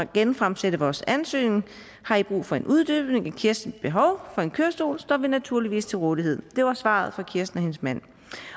genfremsende vores ansøgning har i brug for en uddybning af kirstens behov for en kørestol står vi naturligvis til rådighed det var svaret fra kirsten og hendes mand